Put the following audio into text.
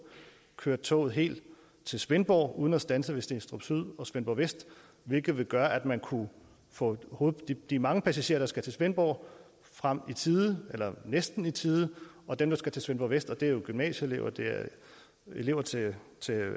køre toget helt til svendborg uden at standse ved stenstrup syd og svendborg vest hvilket ville gøre at man kunne få de mange passagerer der skal til svendborg frem i tide eller næsten i tide og dem der skal til svendborg vest og det er jo gymnasieelever og elever til